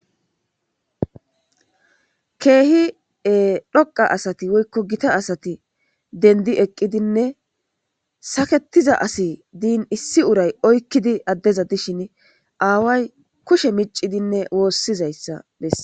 keehi dhoqa asati woykko gita asati dendi eqqidinne saketiza asi diin issi uray oykkidi addeza dishin aaway kushe micidinne woossizayssa bessa